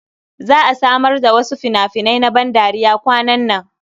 Za a samar da wasu fina-finai na bandariya kwanan nan.